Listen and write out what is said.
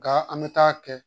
Nka an bɛ taa kɛ